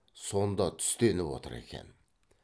сонда түстеніп отыр екен